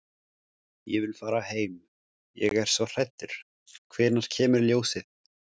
Ég vil fara heim. ég er svo hræddur. hvenær kemur ljósið?